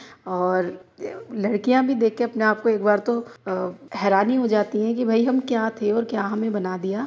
और लड़कियां भी देखकर अपने आप को एक बार तो अ हैरानी हो जाती हैं कि भाई हम क्या थे और क्या हमें बना दिया।